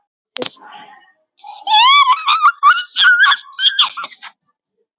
Erum við að fara að sjá aftökuna?